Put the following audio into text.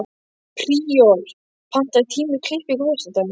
Príor, pantaðu tíma í klippingu á föstudaginn.